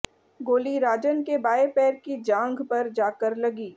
गोली राजन के बाएं पैर की जांघ पर जाकर लगी